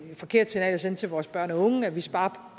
forkert signal at sende til vores børn og unge at vi sparer